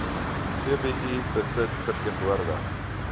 vbi besit verteenwoordig